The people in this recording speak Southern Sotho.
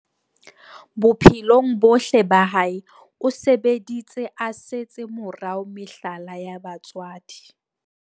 Bophelong bohle ba hae o sebeditse a setse morao mehlala ya batswadi.